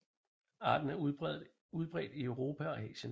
Arten er udbredt i Europa og Asien